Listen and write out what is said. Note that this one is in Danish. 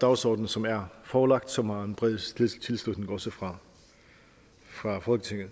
dagsorden som er forelagt og som har en bred tilslutning også fra folketinget